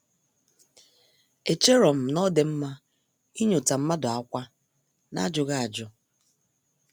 Echerom na-odi mma inyota mmadụ ákwá n'ajughi ajụ.